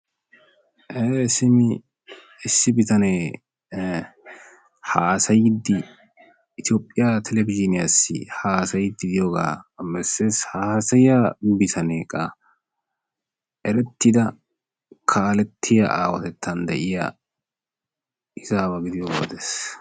Simmi issi bitanee hassayyid Itoohpiya televizhiniyassi haasayyidi diyooga bessees, haassayiya bitaneekka erettida kaalletiya aawatettan de'iya izzawa gidiyooga odees.